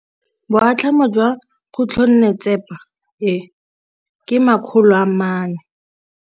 Boatlhamô jwa khutlonnetsepa e, ke 400.